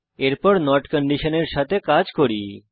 এরপর নট কন্ডিশনের সাথে কাজ করি